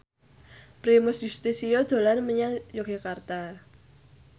Primus Yustisio dolan menyang Yogyakarta